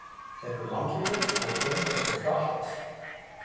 Þeir eru langlífir og fjölga sér hratt.